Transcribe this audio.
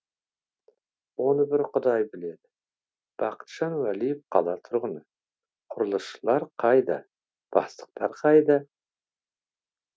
оны бір құдай біледі бақытжан уәлиев қала тұрғыны құрылысшылар қайда бастықтар қайда